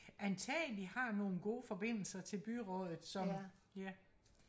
antageligt har nogle gode forbindelser til byrådet som ja